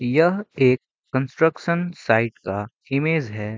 यह एक construction site का इमेज है।